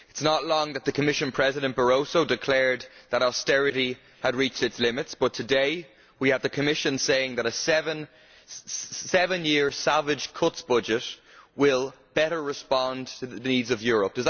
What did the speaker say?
It is not long ago that Commission President Barroso declared that austerity had reached its limits, but today we have the Commission saying that a seven year savage cuts budget will better respond to the needs of Europe.